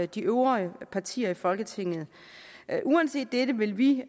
de øvrige partier i folketinget uanset dette vil vi